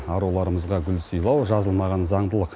аруларымызға гүл сыйлау жазылмаған заңдылық